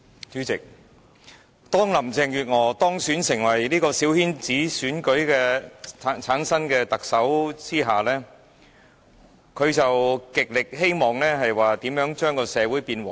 主席，當林鄭月娥當選成為由小圈子選舉產生的特首後，她極希望令社會變得和諧。